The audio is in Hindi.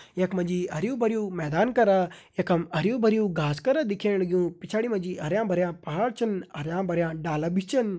यख मा जी हरयूं भरयूं मैदान करा यखम हरयूं भरयूं घास करा दिखेणु पिछाड़ी मा जी हरयां भरयां पहाड़ छन हरयां भरयां डाला भी छन।